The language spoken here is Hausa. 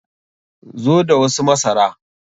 Zo da wasu masara!